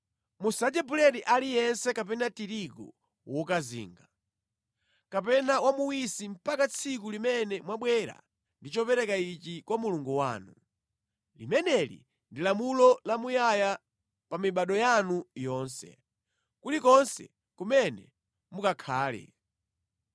Musadye buledi aliyense kapena tirigu wokazinga, kapena wamuwisi mpaka tsiku limene mwabwera ndi chopereka ichi kwa Mulungu wanu. Limeneli ndi lamulo lamuyaya pa mibado yanu yonse, kulikonse kumene mukakhale.